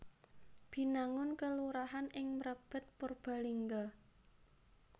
Binangun kelurahan ing Mrebet Purbalingga